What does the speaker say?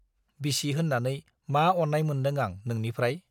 बिसि होन्नानै मा अन्नाय मोनदों आं नोंनिफ्राय?